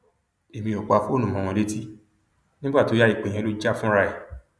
èmi ò pa fóònù mọ wọn létí nígbà tó yá ìpè yẹn ló jà fúnra ẹ